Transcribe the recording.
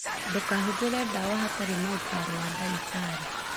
Ndukahũthĩre ndawa hatarĩ na ũtaro wa ndagĩtarĩ.